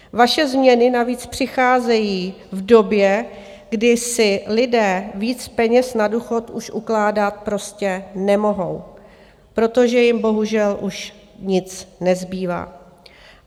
Vaše změny navíc přicházejí v době, kdy si lidé víc peněz na důchod už ukládat prostě nemohou, protože jim bohužel už nic nezbývá.